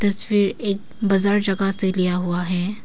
तस्वीर एक बाजार जगह से लिया हुआ है।